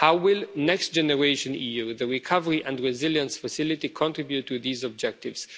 be. How will Next Generation EU, the recovery and resilience facility, contribute to these objectives?